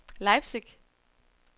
Leipzig